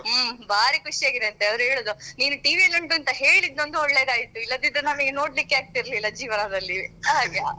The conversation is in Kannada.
ಹ್ಮ್‌ಬಾರಿ ಖುಷಿ ಆಗಿದೆ ಅಂತೇ ಅವ್ರು ಹೇಳುದು ನಿನ್ TV ಅಲ್ಲಿ ಉಂಟು ಅಂತ ಹೇಳಿದ್ದೊಂದು ಒಳ್ಳೆದಾಯ್ತು ಇಲ್ಲದಿದ್ರೆ ನಮಿಗೆ ನೋಡ್ಲಿಕ್ಕೆ ಆಗ್ತಿರ್ಲಿಲ್ಲಾ ಜೀವನದಲ್ಲಿ ಹಾಗೆ.